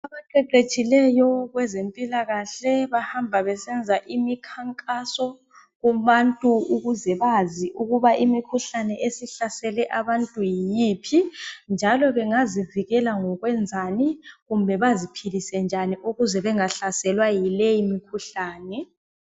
Abaqeqetshileyo kwezempilakahle bahamba besenza imikhankaso kubantu ukuze bazi ukuba imikhuhlane esihlasele abantu yiyiphi ,njalo bengazivikela ngokwenzani kumbe baziphilise njani ukuze bengahlaselwa yileyi mikhuhlane